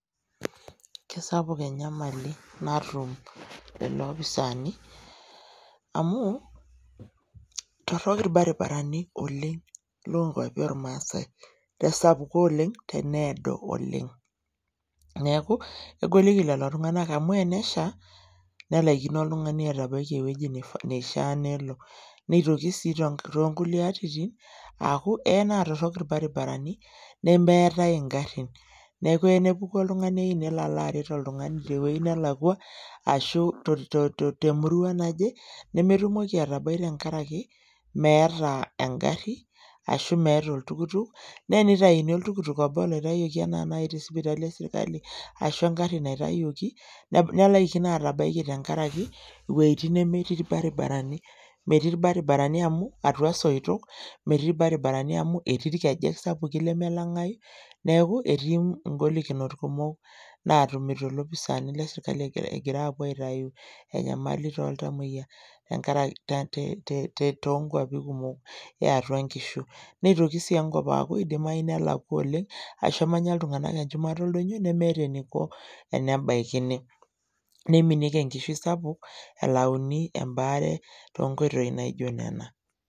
Kisapuk enyamali natum lelo opisaani amu torrok irbaribarani oleng lonkuapi ormaasae tesapuko oleng teneedo oleng neeku egoliki lelo tung'anak amu enesha nelaikino oltung'ani atabaiki ewueji neishia nelo neitoki sii tenka tonkulie atitin aaku eya naa torrok irbaribarani nemeetae ingarrin neeku eya nepuku oltung'ani eyieu nelo aret oltung'ani tewuei nelakua ashu to to temurua nelakua ashu to to temurua naje nemetumoki atabai tenkarake meeta engarri ashu meeta oltukutuk naa enitaini oltukutuk obo oloitayioki ena naai te sipitali esirkali ashu engarri naitayioki neb nelaikino atabaiki tenkaraki iwueitin nemetii irbaribarani metii irbaribarani amu etii irkejek sapuki lemelang'ai neeku etii ingolikinot kumok natumito ilopisaani lesirkali egira aapuo aitayu enyamali toltamoyia enkarake te te tonkuapi kumok eatua inkishu neitoki sii enkop aaku eidimai nelakua oleng ashu emanya iltung'anak enchumata oldonyio nemeeta eniko enabaikini niminieki enkishui sapuk elauni embaare tonkoitoi naijio nena.